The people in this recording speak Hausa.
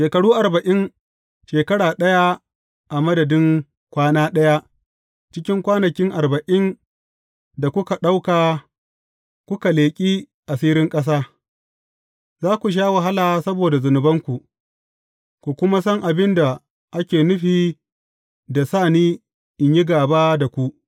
Shekaru arba’in, shekara ɗaya a madadi kwana ɗaya cikin kwanakin arba’in da kuka ɗauka kuka leƙi asirin ƙasa, za ku sha wahala saboda zunubanku, ku kuma san abin da ake nufi da sa ni in yi gāba da ku.’